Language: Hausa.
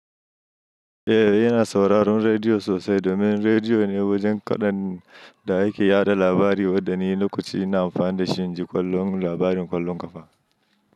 Eh, yana sauraron rediyo sosai domin rediyo ne wajen kaɗan da ake yaɗa labari, wanda ni lokaci ina amfani da shi in ji labarin kallon kafa.